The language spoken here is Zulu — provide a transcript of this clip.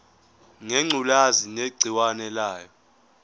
ngengculazi negciwane layo